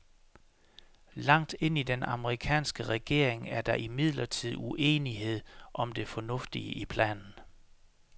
Langt ind i den amerikanske regering er der imidlertid uenighed om det fornuftige i planen.